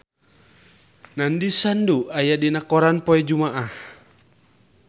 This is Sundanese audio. Nandish Sandhu aya dina koran poe Jumaah